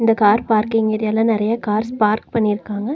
இந்த car parking ஏரியால நெறைய கார்ஸ் பார்க் பண்ணிருக்காங்க.